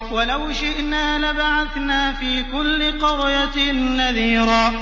وَلَوْ شِئْنَا لَبَعَثْنَا فِي كُلِّ قَرْيَةٍ نَّذِيرًا